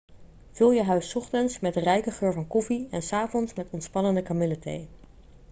vul je huis s ochtends met de rijke geur van koffie en s avonds met ontspannende kamillethee